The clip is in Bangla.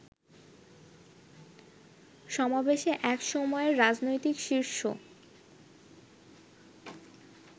সমাবেশে এক সময়ের রাজনৈতিক শিষ্য